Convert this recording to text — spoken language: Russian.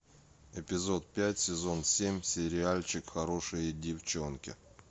эпизод пять сезон семь сериальчик хорошие девчонки